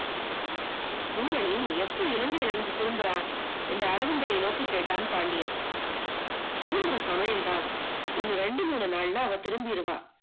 பூரணி எப்போ இலங்கைல இருந்து திரும்புற? என்று அரவிந்தனை நோக்கி கேட்டான் பாண்டியன் திரும்புற சமையம்தான் இன்னும் ரெண்டு மூணு நாள்ல அவ திரும்பிடுவ